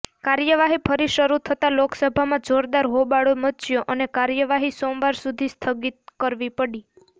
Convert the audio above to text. કાર્યવાહી ફરી શરૂ થતા લોકસભામાં જોરદાર હોબાળો મચ્યો અને કાર્યવાહી સોમવાર સુધી સ્થગિત કરવી પડી